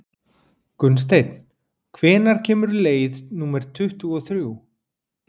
Gunnsteinn, hvenær kemur leið númer tuttugu og þrjú?